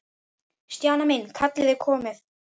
Stjana mín, kallið er komið.